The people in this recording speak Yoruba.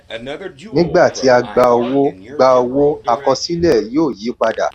nígbà tí a gba owó gba owó àkosílẹ̀ yóò yí padà.